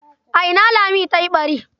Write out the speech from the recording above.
A ina Lami ta yi ɓari?